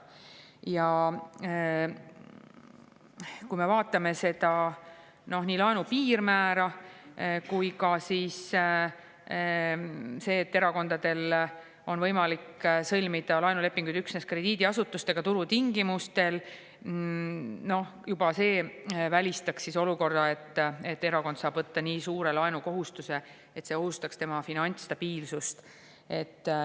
Juba laenu piirmäär ja see, et erakondadel on võimalik sõlmida laenulepinguid üksnes krediidiasutustega turutingimustel, välistab olukorra, et erakond saab võtta nii suure laenukohustuse, et see ohustaks tema finantsstabiilsust.